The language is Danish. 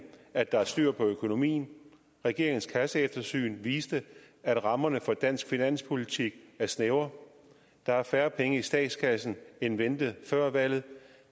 at der er styr på økonomien regeringens kasseeftersyn viste at rammerne for dansk finanspolitik er snævre der er færre penge i statskassen end ventet før valget og